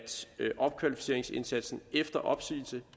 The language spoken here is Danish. opkvalificeringsindsatsen efter opsigelse